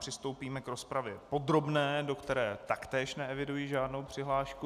Přistoupíme k rozpravě podrobné, do které taktéž neeviduji žádnou přihlášku.